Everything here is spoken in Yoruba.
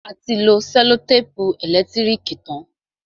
A ti lo sẹ́lòtèpù ẹ̀lẹ́tírìkì tán.